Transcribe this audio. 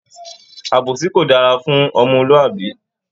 Àbòsí kò dára fún omolúàbí